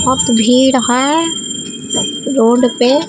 बहुत भीड़ है रोड पे।